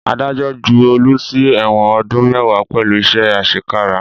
Adájọ́ ju Olu sí ẹ̀wọ̀n ọdún mẹ́wàá pẹ̀lú iṣẹ́ àṣekára